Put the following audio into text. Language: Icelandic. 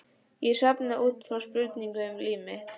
Ég sofna út frá spurningum um líf mitt.